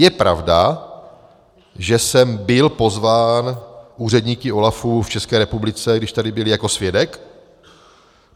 Je pravda, že jsem byl pozván úředníky OLAFu v České republice, když tady byli, jako svědek.